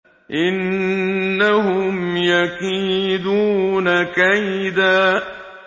إِنَّهُمْ يَكِيدُونَ كَيْدًا